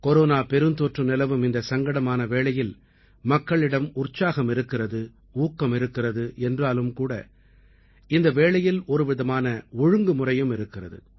corona பெருந்தொற்று நிலவும் இந்தச் சங்கடமான வேளையில் மக்களிடம் உற்சாகம் இருக்கிறது ஊக்கமிருக்கிறது என்றாலும் கூட ஒருவிதமான ஒழுங்குமுறையும் இருக்கிறது